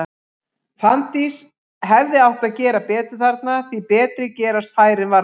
Fanndís hefði átt að gera betur þarna, því betri gerast færin varla.